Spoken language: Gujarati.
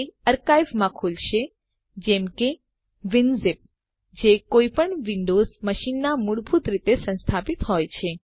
તે અર્કાઇવરમાં ખુલશે જેમ કે વિનઝિપ જે કોઈપણ વિંડોવ્ઝ મશીનમાં મૂળભૂત રીતે સંસ્થાપિત હોય છે